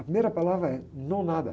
A primeira palavra é no nada.